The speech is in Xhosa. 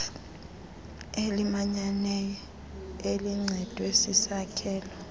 elimanyeneyo elincedwe sisakhelo